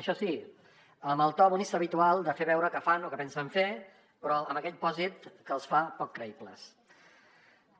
això sí amb el to bonista habitual de fer veure que fan o que pensen fer però amb aquell pòsit que els fa poc creïbles